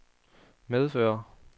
medføre